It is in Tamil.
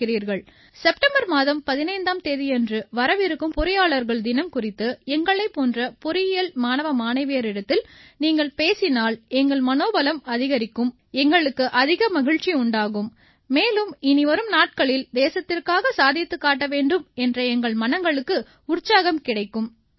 செப்டம்பர் மாதம் 15ஆம் தேதியன்று வரவிருக்கும் பொறியாளர்கள் தினம் குறித்து எங்களைப் போன்ற பொறியியல் மாணவ மாணவியரிடத்தில் நீங்கள் பேசினால் எங்கள் மனோபலம் அதிகரிக்கும் எங்களுக்கு அதிக மகிழ்ச்சி உண்டாகும் மேலும் இனிவரும் நாட்களில் தேசத்திற்காக சாதித்துக் காட்ட வேண்டும் என்ற எங்கள் மனங்களுக்கு உற்சாகம் கிடைக்கும் நன்றி